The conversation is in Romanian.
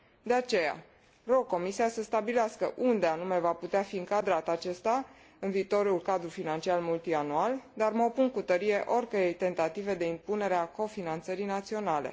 De aceea, rog Comisia să stabilească unde anume va putea fi încadrat acesta în viitorul cadru financiar multianual, dar mă opun cu tărie oricărei tentative de impunere a cofinanțării naționale.